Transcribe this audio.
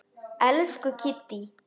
Elsku Kiddý.